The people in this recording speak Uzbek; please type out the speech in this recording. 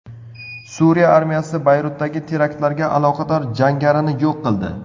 Suriya armiyasi Bayrutdagi teraktlarga aloqador jangarini yo‘q qildi.